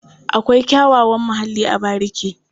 Akwai kyakkyawan muhalli a bariki.